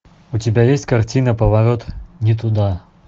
у тебя есть картина поворот не туда